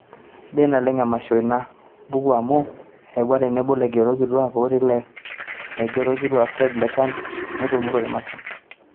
sidai naleng' emasho ina buku amu eyaua tenebo ilaigerok kituaak etii olaigeroni kitok Fred Leshan neitumuru emasho